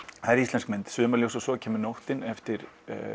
það er íslensk mynd sumarljós og svo kemur nóttin eftir